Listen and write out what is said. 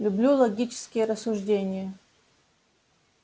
люблю логические рассуждения